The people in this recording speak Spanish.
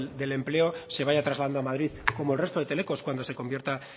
del empleo se vaya trasladado a madrid como el resto de telecos cuando se convierta